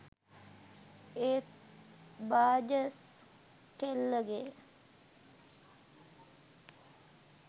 ඒත් බාජස් කෙල්ලගේ